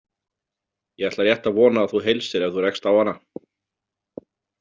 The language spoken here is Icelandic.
Ég ætla rétt að vona að þú heilsir ef þú rekst á hana.